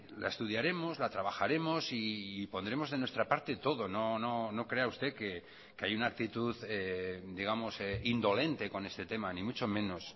la estudiaremos la trabajaremos y pondremos de nuestra parte todo no crea usted que hay una actitud digamos indolente con este tema ni mucho menos